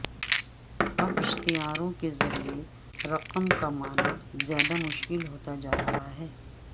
اب اشتہاروں کے ذریعے رقم کمانا زیادہ مشکل ہوتا جا رہا ہے